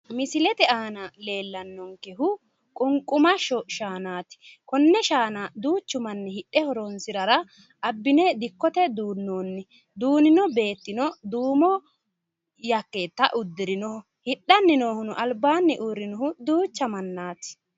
Misile aana leellannonkehu qunqumashsho shaanaati konne shaana duuchu manni hidhe horonsirara abbine diikote duunnoonni duunino beettino duumo jakkeeta uddirinoho hidhanni noohuno albaani noohuno duucha mannaati.